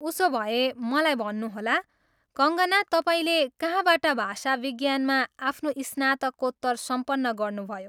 उसोभए, मलाई भन्नुहोला, कङ्गना, तपाईँले कहाँबाट भाषा विज्ञानमा आफ्नो स्नातकोत्तर सम्पन्न गर्नुभयो?